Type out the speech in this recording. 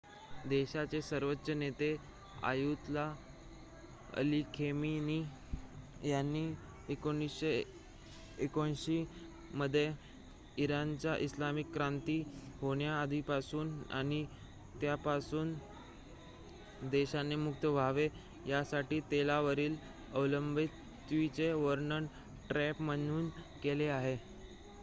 "देशाचे सर्वोच्च नेते अयातुल्ला अली खमेनी यांनी 1979 मध्ये इराणची इस्लामिक क्रांती होण्याआधीपासून आणि त्यापासून देशाने मुक्त व्हावे यासाठी तेलावरील अवलंबित्वाचे वर्णन "ट्रॅप" म्हणून केले आहे.